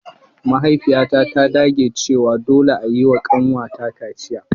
Mahaifiyata ta dage cewa dole a yi wa kanwata kaciya.